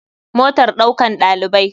Motar ɗaukan ɗalibai.